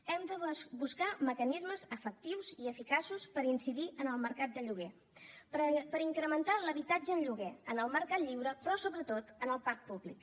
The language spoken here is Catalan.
hem de buscar mecanismes efectius i eficaços per incidir en el mercat de lloguer per incrementar l’habitatge en lloguer en el mercat lliure però sobretot en el parc públic